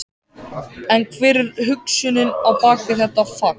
En hver er hugsunin á bak við þetta fagn?